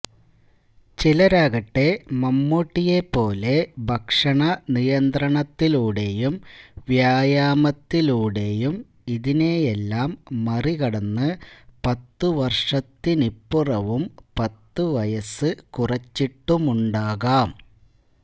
ചിലരാകട്ടെ മമ്മൂട്ടിയെപ്പോലെ ഭക്ഷണനിയന്ത്രണത്തിലൂടെയും വ്യായമത്തിലൂടെയും ഇതിനെയെല്ലാം മറികടന്ന് പത്തുവര്ഷത്തിനിപ്പുറവും പത്തു വയസ്സ് കുറച്ചിട്ടുമുണ്ടാകാം